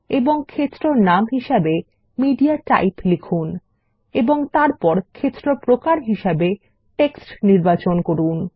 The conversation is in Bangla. এবং ক্ষেত্র নাম হিসেবে মিডিয়াটাইপ লিখুন এবং তারপর ক্ষেত্র প্রকার হিসাবে টেক্সট নির্বাচন করুন